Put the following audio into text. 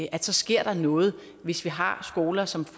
at så sker der noget hvis vi har skoler som